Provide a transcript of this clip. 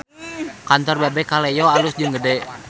Kantor Bebek Kaleyo alus jeung gede